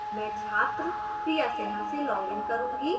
मैं छात्र priya sinha से login करूंगी